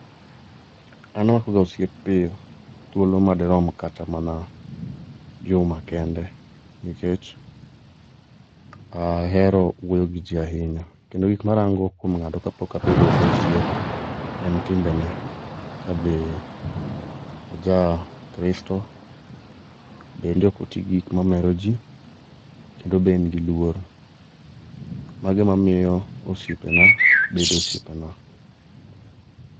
An amakoga osiep pio, thuolo madirom kata juma kende, nkech ahero wuoyo gi jii ahinya. Kendo gik marango kwo ng'ato kapok abedo go osiep en timbene, kabe ojakristo, bende okotii gi gik mamero jii kendo be en gi luor. Mago emamio osiepena bedo osiepena.